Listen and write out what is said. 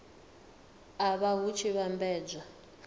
a nha hu tshi vhambedzwa